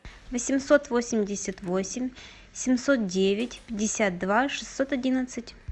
восемьсот восемьдесят восемь семьсот девять пятьдесят два шестьсот одиннадцать